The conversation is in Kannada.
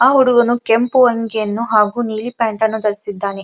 ಆ ಹುಡುಗನು ಕೆಂಪು ಅಂಗಿ ಹಾಗು ನೀಲಿ ಪ್ಯಾಂಟ್ ಅನ್ನು ಧರಿಸಿದ್ದಾನೆ.